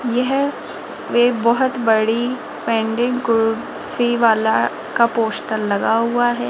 यह वे बहोत बड़ी पेंडेंट कुर्सी वाला का पोस्टर लगा हुआ है।